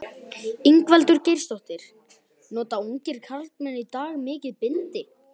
Ingveldur Geirsdóttir: Nota ungir karlmenn í dag mikið bindi?